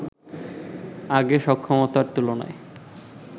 আগে সক্ষমতার তুলনায়